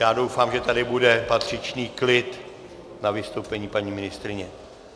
Já doufám, že tady bude patřičný klid na vystoupení paní ministryně.